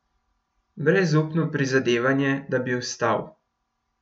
Brezupno prizadevanje, da bi vstal.